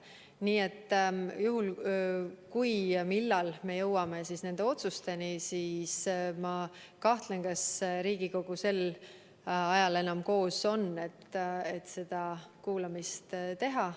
Nii et juhul, kui me jõuame homme nende otsusteni, siis ma kahtlen, kas Riigikogu sel ajal enam koos on, et seda ärakuulamist teha.